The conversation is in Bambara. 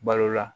Balo la